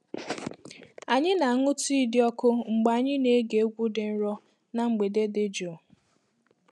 Anyị na-aṅụ tii dị ọkụ mgbe anyị na-ege egwu dị nro na mgbede dị jụụ.